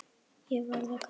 Ég var að kafna.